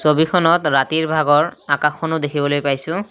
ছবিখনত ৰাতিৰ ভাগৰ আকাশখনো দেখিবলৈ পাইছোঁ।